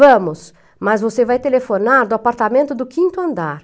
Vamos, mas você vai telefonar do apartamento do quinto andar.